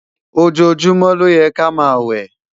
ojojumọ ló yè ká má wẹ